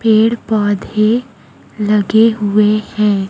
पेड़ पौधे लगे हुए हैं।